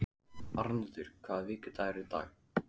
Arnoddur, hvaða vikudagur er í dag?